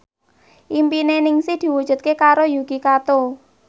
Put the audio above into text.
impine Ningsih diwujudke karo Yuki Kato